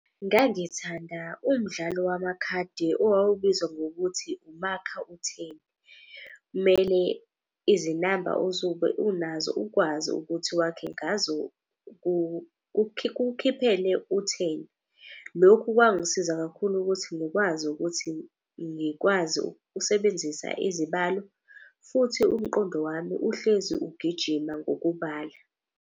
Ngangithanda umdlalo wamakhadi owawubizwa ngokuthi, umakha utheni. Kumele izinamba osuke unazo ukwazi ukuthi wakhe ngazo kukukhiphele utheni. Lokhu kwangisiza kakhulu ukuthi ngikwazi ukuthi ngikwazi ukusebenzisa izibalo. Futhi umqondo wami uhlezi ugijima ngokubala.